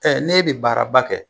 Ɛ ne bi baaraba kɛ